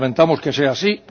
Lamentamos que sea así